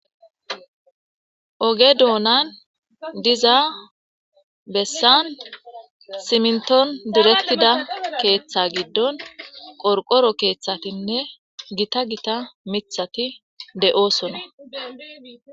Oge dunani diza besan siminton ddiretida ketha gidon qorqoro kethatine gitta gitta mithati de'osona